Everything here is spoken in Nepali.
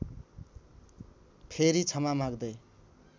फेरि क्षमा माग्दै